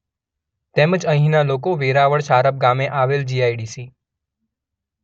તેમજ અહીંનાં લોકો વેરાવળ શારપ ગામે આવેલ જી_શબ્દ આઈ_શબ્દ ડી_શબ્દ સી_શબ્દ